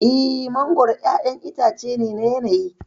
Eh, mangwaro ƴaƴan itace ne na yanayi.